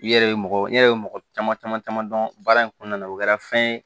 I yɛrɛ ye mɔgɔ i yɛrɛ ye mɔgɔ caman caman caman dɔn baara in kɔnɔna na o kɛra fɛn ye